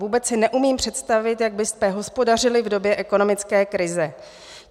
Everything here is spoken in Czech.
Vůbec si neumím představit, jak byste hospodařili v době ekonomické krize.